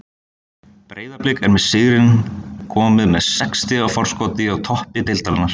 Breiðablik er með sigrinum komið með sex stiga forskot á toppi deildarinnar.